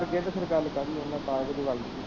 ਅੱਗੇ ਤੇ ਫਿਰ ਗੱਲ ਕਰਨ ਉਨ੍ਹਾਂ ਦੀ